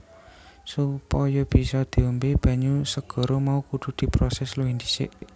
Supaya bisa diombé banyu segara mau kudu diprosès luwih dhisik